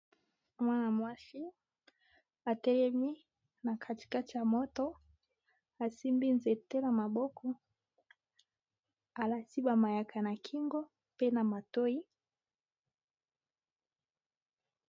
Mwana-mwasi atelemi na kati kati ya moto asimbi nzete na maboko alati ba mayaka na kingo pe na matoyi.